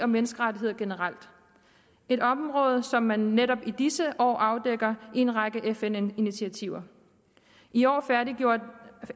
menneskerettigheder generelt et område som man netop i disse år afdækker i en række fn initiativer i år færdiggjorde